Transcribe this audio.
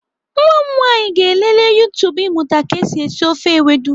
Nwa m nwaanyị ga-elelee YouTube ịmụta ka esi esi ofe ewedu.